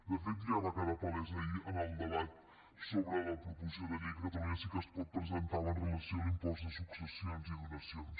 de fet ja va quedar palès ahir en el debat sobre la proposició de llei que catalunya sí que es pot presentava amb relació a l’impost de successions i donacions